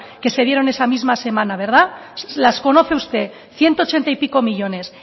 que se dieron esa misma semana verdad las conoce usted ciento ochenta y pico millónes